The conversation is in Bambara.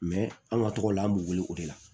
an ka tɔgɔ la an b'u wele o de la